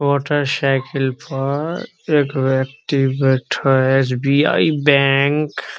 Motorcycle पर एक व्यक्ति बैठएल एस.बी.आई. बैंक --